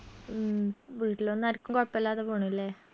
ഉം വീട്ടിലൊന്നു ആരിക്കും കൊഴപ്പില്ലാതെ പോണു അല്ലെ